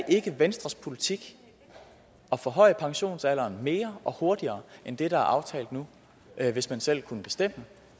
ikke venstres politik at forhøje pensionsalderen mere og hurtigere end det der er aftalt nu hvis man selv kunne bestemme